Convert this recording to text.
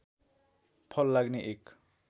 फल लाग्ने एक